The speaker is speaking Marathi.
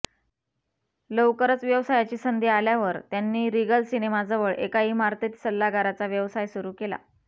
लवकरच व्यवसायाची संधी आल्यावर त्यांनी रिगल सिनेमाजवळ एका इमारतीत सल्लागाराचा व्यवसाय सुरू केला